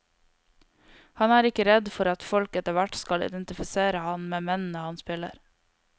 Han er ikke redd for at folk etterhvert skal identifisere ham med mennene han spiller.